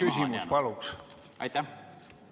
Miks see number nii maha on jäänud?